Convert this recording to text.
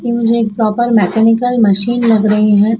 ये मुझे एक प्रॉपर मैकेनिक मशीन लग रही है।